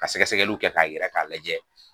Ka sɛkɛsɛkɛliw kɛ ka yira ka lajɛ.